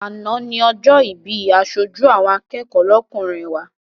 Àná ni ọjọ́ ìbí aṣojú àwọn akẹ́kọ̀ọ́ lọ́kùnrin wa.